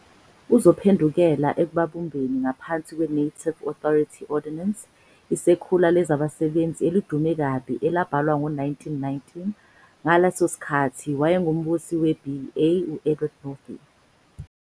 Uzophendukela ekubabumbeni ngaphansi kwe-'Native Authority Ordinance ', isekhula lezabasebenzi elidume kabi elabhalwa ngo-1919 ngaleso sikhathi owayengumbusi we-BEA u-Edward Northey.